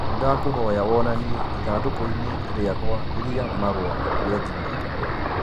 Nĩndakũhoya wonanie ĩthandũkũinĩ rĩakwa ria marũa rĩa gmail